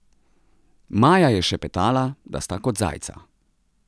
Maja je šepetala, da sta kot zajca.